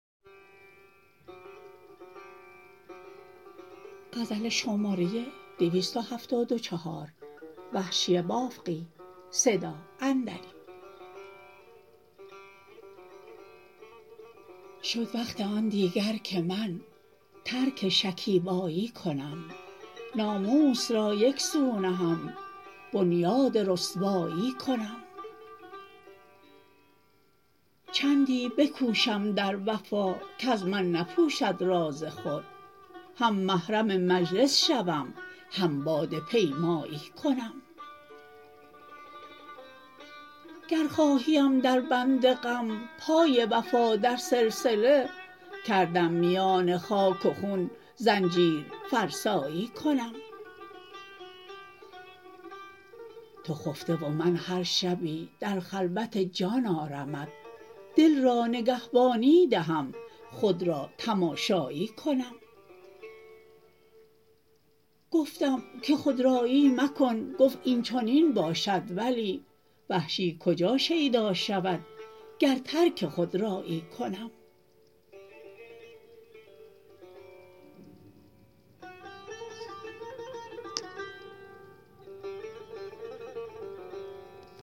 شد وقت آن دیگر که من ترک شکیبایی کنم ناموس را یک سو نهم بنیاد رسوایی کنم چندی بکوشم در وفا کز من نپوشد راز خود هم محرم مجلس شوم هم باده پیمایی کنم گر خواهیم در بند غم پای وفا در سلسله کردم میان خاک و خون زنجیر فرسایی کنم تو خفته و من هر شبی در خلوت جان آرمت دل را نگهبانی دهم خود را تماشایی کنم گفتم که خود رایی مکن گفت اینچنین باشد ولی وحشی کجا شیدا شود گر ترک خود رایی کنم